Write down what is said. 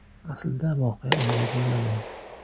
Aslida, voqea unday bo‘lmagan.